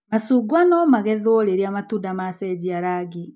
Macungwa no magetwo rĩria matunda macenjia rangi.